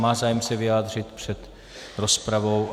Má zájem se vyjádřit před rozpravou?